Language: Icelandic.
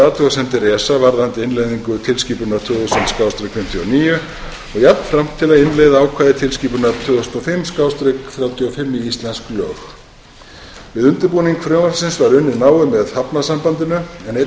athugasemdir esa varðandi innleiðingu tilskipunar tvö þúsund fimmtíu og níu og jafnframt til að innleiða ákvæði tilskipunar tvö þúsund og fimm þrjátíu og fimm í íslensk lög við undirbúning frumvarpsins var unnið náið með hafnasambandi en einnig var